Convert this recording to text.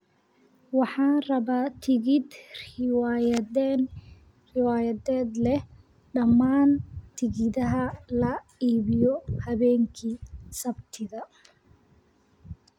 Waxaan rabaa tigidh riwaayadeed leh dhammaan tigidhada la iibiyo habeenkii Sabtida